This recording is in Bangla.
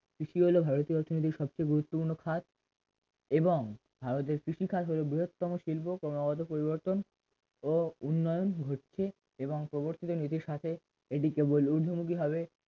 ভারতের অর্থনীতির সবচেয়ে গুরুত্বপূর্ণ খাত এবং ভারতের কৃষিকাজ হলো বৃহত্তম শিল্প ক্রমাগত পরিবর্তন ও উন্নয়ন হচ্ছে এবং পরবর্তীতে নীতির সাথে এটি কেবল